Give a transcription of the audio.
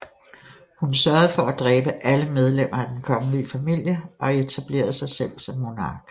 Hun sørgede for at dræbe alle medlemmer af den kongelige familie og etablerede sig selv som monark